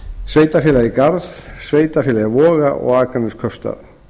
sveitarfélagið garð sveitarfélagið voga og akraneskaupstað